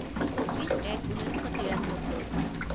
চৌব্বিছ এক ঊনৈছ শ তিৰান্নব্বৈ